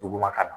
Duguma ka na